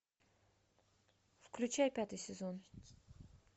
включай пятый сезон